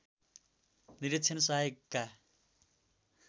निरीक्षण सहायकका